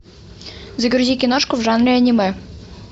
загрузи киношку в жанре аниме